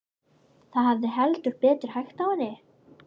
Það hafði heldur betur hægt á henni.